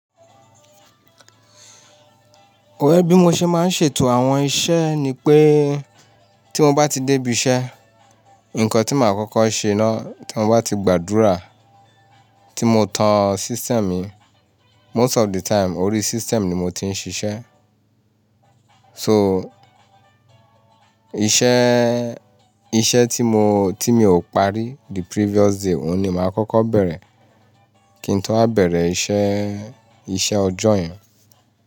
Ẹ bí mo ṣe máa ń ṣètò àwọn iṣẹ́ ni pé tí mo bá ti dé ibiṣẹ́, nǹkan tí màá kọ́kọ́ ṣe náà tí mo bá ti gbàdúrà, tí mo tan system mi. Most of the time orí system ni mo ti ń ṣiṣẹ́. So iṣẹ́, iṣẹ́ tí mo, tí mi ò parí the previous day, òun ni màá kọ́kọ́ bẹ̀rẹ̀ kí n tó wá bẹ̀rẹ̀ iṣẹ́, iṣẹ́ ọjọ́ yẹn.